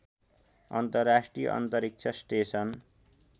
अन्तर्राष्ट्रिय अन्तरिक्ष स्टेसन